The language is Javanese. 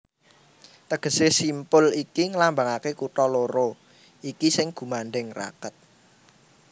Tegesé simpul iki nglambangaké kutha loro iki sing gumandhèng raket